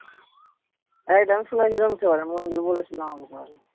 আরে মঞ্জুর বলেছিলো আমাকে সেবারে।